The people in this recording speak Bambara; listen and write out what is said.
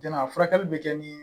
Jɔnna furakɛli bɛ kɛ ni